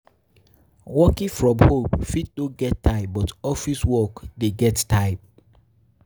Working from home fit no get time but office work de get time